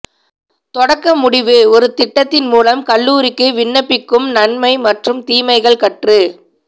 தொடக்க முடிவு ஒரு திட்டத்தின் மூலம் கல்லூரிக்கு விண்ணப்பிக்கும் நன்மை மற்றும் தீமைகள் கற்று